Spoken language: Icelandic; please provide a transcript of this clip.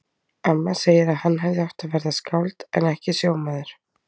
Amma segir að hann hefði átt að verða skáld en ekki sjómaður.